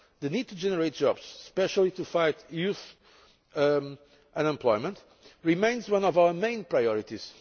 The need to generate jobs especially in order to fight youth unemployment remains one of our main priorities.